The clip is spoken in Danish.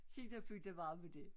Skidt og pytte være med dét